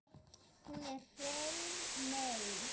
Hún er hrein mey.